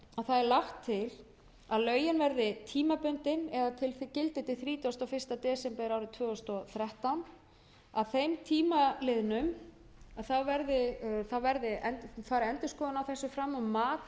að það er lagt til að lögin verði tímabundin eða gildi til þrítugasta og fyrsta desember árið tvö þúsund og þrettán að þeim tíma liðnum fari endurskoðun á þessu fram og mat á